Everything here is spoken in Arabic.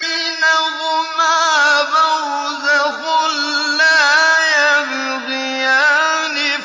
بَيْنَهُمَا بَرْزَخٌ لَّا يَبْغِيَانِ